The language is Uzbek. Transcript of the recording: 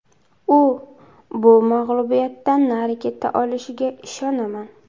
U bu mag‘lubiyatdan nari keta olishiga ishonaman.